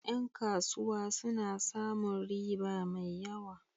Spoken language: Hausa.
Ƴan kasuwa suna samun riba mai yawa.